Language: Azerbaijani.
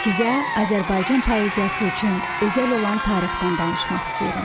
Sizə Azərbaycan poeziyası üçün özəl olan tarixdən danışmaq istəyirəm.